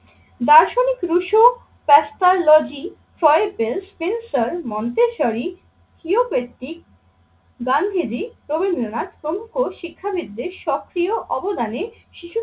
দার্শনিক রুশ্যলজিন্সার, মন্তেশ্বরী, হিরো পেস্ট্রিক, গান্ধীজি, রবীন্দ্রনাথ প্রমুখ শিক্ষাবিদদের সক্রিয় অবদানে